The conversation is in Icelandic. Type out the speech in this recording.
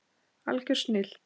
Algjör snilld.